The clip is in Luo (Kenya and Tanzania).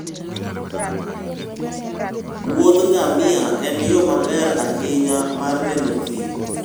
muodh ngamia en yo maber ahinya mar neno thim.